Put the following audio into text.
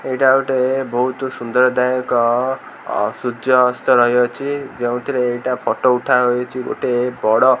ଏଇଟା ଗୋଟେ ବହୁତ ସୁନ୍ଦରଦାୟକ ଅ ସୂର୍ଯ୍ୟଅସ୍ତ ରହିଅଛି ଯୋଉଥିରେ ଏଇଟା ଫଟୋ ଉଠାହେଇଛି ଗୋଟେ ବଡ଼--